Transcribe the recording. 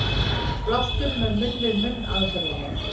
Blástur með munn-við-munn aðferðinni.